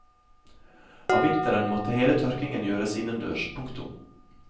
Om vinteren måtte hele tørkingen gjøres innendørs. punktum